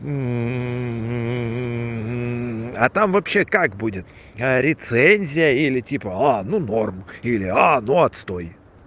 а там вообще как будет рецензия или типа а ну норм или а ну отстой